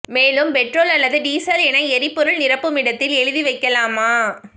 மேலும் பெட்ரோல் அல்லது டீசல் என எரிபொருள் நிரப்புமிடத்தில் எழுதி வைக்கலாம